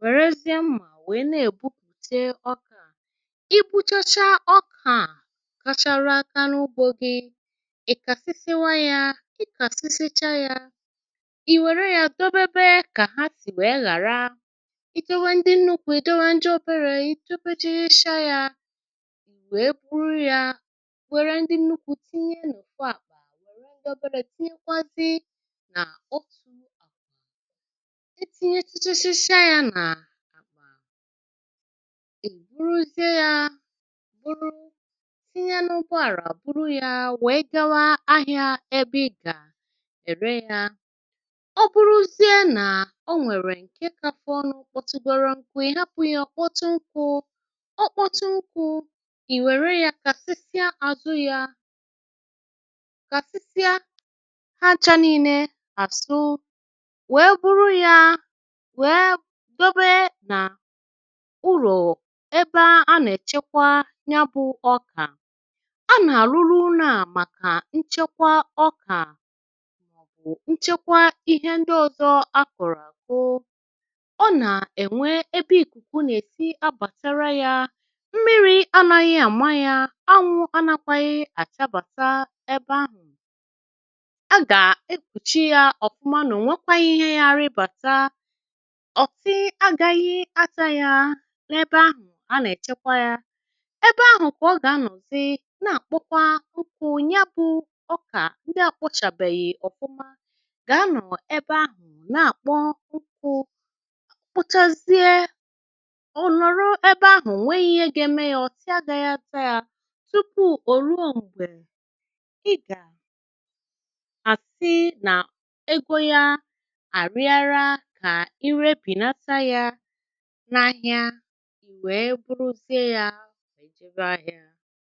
wèrèziè mma wee na egbụpụtè ọka, igbụchacha ọka kachara aka na ụgbọ gi ikasisiwaya, ikasisichaya iwèrè ya dobebe ka ha sì wèe ghàra, idọwe ndị nnukwụ idọwe ndiọbere idọbesi chaya wèè buru ya wère ndị nnukwu tinye n’ọfụ akpa wère ndị ọbere tinyekwazi nà otù akpa e tinye chichachacha ya nà akpa è buruzie ya buru tinye n’ugbo àrà buru ya wee gawa ahịȧ ebe ị̀ga ere ya ọ bụrụzie nà o nwèrè ǹke kàfọ nụ kpọtụgọrọ nkụ ị hapụ̇ yȧ ọ̀kpọtụ nkụ ọ kpọtụ nkụ ì wère yȧ kàsịsịa àzụ yȧ kàsịsịa ha cha nine àzụ wee buru yȧ wee dobe nà ụrọ ebe a nà-èchekwa nya bụ̇ ọkà a nà-àlụlụ ụnọ a màkà nchekwa ọkà, nchekwa ihe ndị ọ̀zọ a kụ̀rụ̀ àkụ ọ nà-ènwe ebe ìkùkù nà-èsi abàtara yȧ mmiri anȧghị àma yȧ, anwụ anakwȧghị àchabàta ebe ahụ̀ a gà-ekpùchi ya ọ̀fụma na ọnwekwaghị ihe gà arịbàta, ọ̀ti agȧghị ata ya n’ebe ahụ̀ a nà-èchekwa yȧ ebe ahụ̀ kà ọ gà-anọ̀zi na-àkpọkwa ụkwụ nya bụ̇ ọkà ndị à kpọchàbèghì ọfụma ga anọ̀ ebe ahụ̀ na-àkpọ ukwụ kpọchazie ọ̀nọ̀rọ ebe ahụ̀ ọnweghị̇ ihe ga-eme ya ọ̀tị a gȧghị̇ ata yȧ tupu ò ruo m̀gbè ị gà-àsi nà ego ya à arịara kà ịre binata yȧ n’ahịa i wee bụrụzie yȧ jebe ahia.